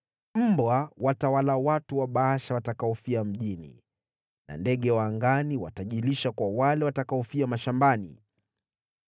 Mbwa watawala watu wa Baasha watakaofia mjini na ndege wa angani watajilisha kwa wale watakaofia mashambani.”